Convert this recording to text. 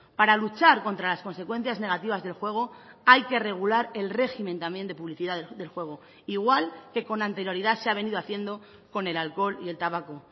para luchar contra las consecuencias negativas del juego hay que regular el régimen también de publicidad del juego igual que con anterioridad se ha venido haciendo con el alcohol y el tabaco